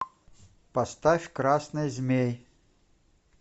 поставь красный змей